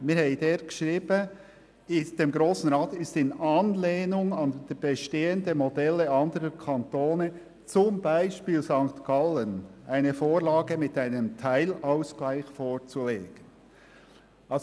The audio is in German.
Wir haben geschrieben, dem Grossen Rat sei in Anlehnung an bestehende Modelle anderer Kantone, zum Beispiel St. Gallen, eine Vorlage mit einem Teilausgleich vorzulegen.